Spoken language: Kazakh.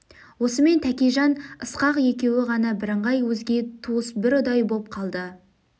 осымен тәкежан ысқақ екеуі ғана бірыңғай өзге туыс бір ұдай боп қалды